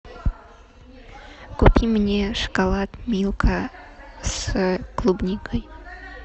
купи мне шоколад милка с клубникой